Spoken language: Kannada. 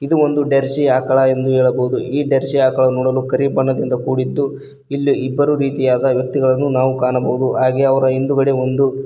ಇದು ಒಂದು ಡರ್ಸಿ ಆಕಳ ಎಂದು ಹೇಳಬಹುದು ಈ ಡರ್ಸಿ ಆಕಳ ನೋಡಲು ಕರಿಬಣ್ಣದಿಂದ ಕೂಡಿದ್ದು ಇಲ್ಲಿ ಇಬ್ಬರು ರೀತಿಯಾದ ವ್ಯಕ್ತಿಗಳನ್ನು ನಾವು ಕಾಣಬಹುದು ಹಾಗೆ ಅವರ ಹಿಂದುಗಡೆ ಒಂದು--